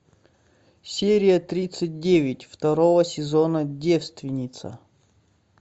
серия тридцать девять второго сезона девственница